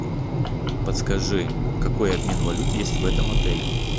подскажи какой обмен валют есть в этом отеле